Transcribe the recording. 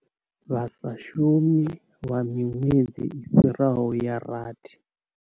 Vha sa shumi lwa miṅwedzi i fhiraho ya rathi.